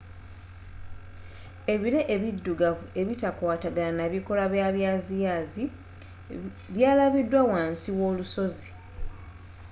ebire ebidugavu ebitakwatagana nabikolwa byabyaziyazi byalabidwa wansi wolusozi